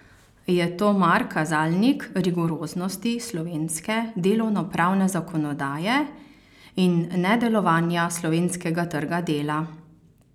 Je mar to kazalnik rigoroznosti slovenske delovnopravne zakonodaje in nedelovanja slovenskega trga dela?